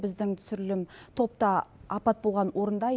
біздің түсірілім топ та апат болған орында